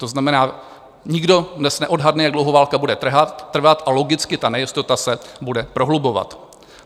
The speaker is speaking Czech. To znamená, nikdo dnes neodhadne, jak dlouho válka bude trvat, a logicky ta nejistota se bude prohlubovat.